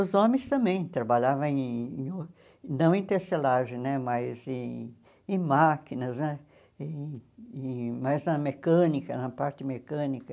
Os homens também trabalhavam em, não em tecelagem né, mas em em máquinas né, em em mais na mecânica, na parte mecânica.